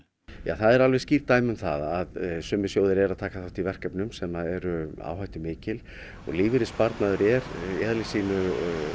það eru alveg skýr dæmi um það að sumir sjóðir eru að taka þátt í verkefnum sem eru áhættumikil og lífeyrissparnaður er í eðli sínu og